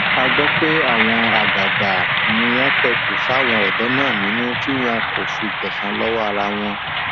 a gbọ pé àwọn àgbààgbà ni wọn pẹtù sáwọn ọdọ náà nínú tí wọn kò fi gbẹsan lọwọ ara wọn